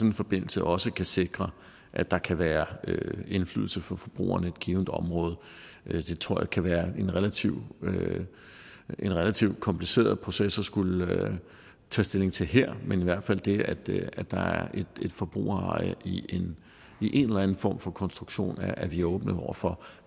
en forbindelse også kan sikre at der kan være indflydelse fra forbrugerne i et givent område det tror jeg kan være en relativt en relativt kompliceret proces at skulle tage stilling til her men i hvert fald det at det at der er et forbrugereje i en eller anden form for konstruktion er vi åbne over for